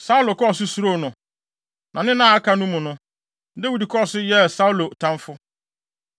Saulo kɔɔ so suroo no, na ne nna a aka no mu no, Dawid kɔɔ so yɛɛ Saulo tamfo.